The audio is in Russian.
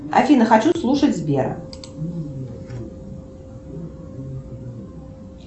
афина хочу слушать сбер